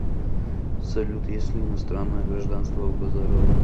салют есть ли иностранное гражданство у базарова